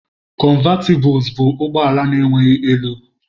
Cọnvatịbụls bụ ụgbọ ala na-enweghị elu.